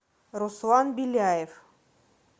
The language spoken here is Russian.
руслан беляев